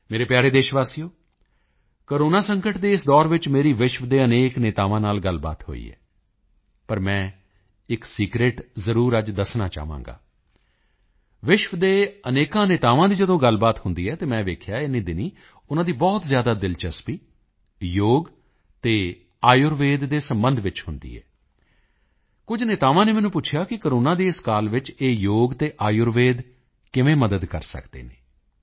ਮੇਰੇ ਪਿਆਰੇ ਦੇਸ਼ਵਾਸੀਓ ਕੋਰੋਨਾ ਸੰਕਟ ਦੇ ਇਸ ਦੌਰ ਵਿੱਚ ਮੇਰੀ ਵਿਸ਼ਵ ਦੇ ਅਨੇਕ ਨੇਤਾਵਾਂ ਨਾਲ ਗੱਲਬਾਤ ਹੋਈ ਹੈ ਪਰ ਮੈਂ ਇੱਕ ਸੀਕ੍ਰੇਟ ਜ਼ਰੂਰ ਅੱਜ ਦੱਸਣਾ ਚਾਹਾਂਗਾ ਵਿਸ਼ਵ ਦੇ ਅਨੇਕਾਂ ਨੇਤਾਵਾਂ ਦੀ ਜਦੋਂ ਗੱਲਬਾਤ ਹੁੰਦੀ ਹੈ ਤਾਂ ਮੈਂ ਦੇਖਿਆ ਇਨ੍ਹੀਂ ਦਿਨੀਂ ਉਨ੍ਹਾਂ ਦੀ ਬਹੁਤ ਜ਼ਿਆਦਾ ਦਿਲਚਸਪੀ ਯੋਗ ਅਤੇ ਆਯੁਰਵੈਦ ਦੇ ਸਬੰਧ ਵਿੱਚ ਹੁੰਦੀ ਹੈ ਕੁਝ ਨੇਤਾਵਾਂ ਨੇ ਮੈਨੂੰ ਪੁੱਛਿਆ ਕਿ ਕੋਰੋਨਾ ਦੇ ਇਸ ਕਾਲ ਵਿੱਚ ਇਹ ਯੋਗ ਅਤੇ ਆਯੁਰਵੈਦ ਕਿਵੇਂ ਮਦਦ ਕਰ ਸਕਦੇ ਹਨ